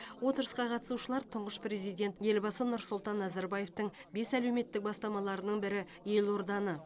отырысқа қатысушылар тұңғыш президент елбасы нұрсұлтан назарбаевтың бес әлеуметтік бастамаларының бірі елорданы